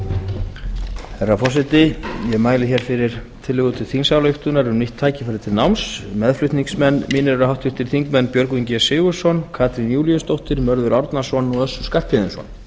herra forseti ég mæli hér fyrir tillögu til þingsályktunar um nýtt tækifæri til náms meðflutningsmenn mínir eru átt þingmenn björgvin g sigurðsson katrín júlíusdóttir mörður árnason og össur skarphéðinsson